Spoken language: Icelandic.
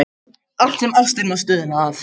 Allt sem ástin má stuðla að.